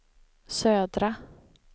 södra